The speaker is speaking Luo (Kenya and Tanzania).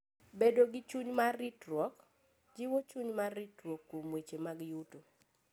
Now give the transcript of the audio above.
Bedo gi chuny mar ritruok: Jiwo chuny mar ritruok kuom weche mag yuto.